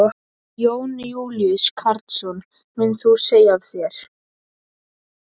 Jón Júlíus Karlsson: Munt þú segja af þér?